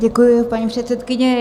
Děkuji, paní předsedkyně.